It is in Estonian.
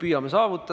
Aeg on läbi!